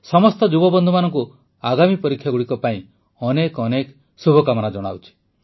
ସମସ୍ତ ଯୁବବନ୍ଧୁମାନଙ୍କୁ ଆଗାମୀ ପରୀକ୍ଷାଗୁଡ଼ିକ ପାଇଁ ଅନେକ ଅନେକ ଶୁଭେଚ୍ଛା ଜଣାଉଛି